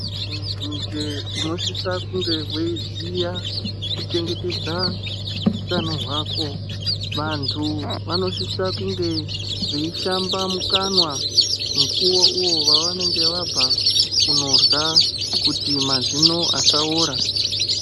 Muntu njee unosisa kunge weiziya kuchengetedza utano hwako. Vantu vanosisa kunge veishamba mukanwa mukuwo uwo wavanenge vabva kunorya kuti mazino asaora.